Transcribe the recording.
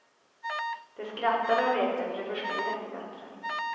De skrattade och lekte för de förstod inte bättre.